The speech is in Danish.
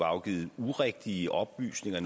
afgivet urigtige oplysninger og